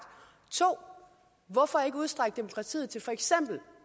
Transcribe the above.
to hvorfor ikke udstrække demokratiet til for eksempel